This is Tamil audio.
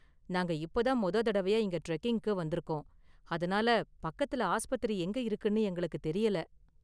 நாங்க இப்ப தான் மொத தடவையா இங்க டிரெக்கிங்குக்கு வந்துருக்கோம், அதனால பக்கத்துல ஆஸ்பத்திரி எங்க இருக்குன்னு எங்களுக்கு தெரியல.